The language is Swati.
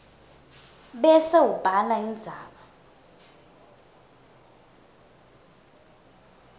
bese ubhala indzaba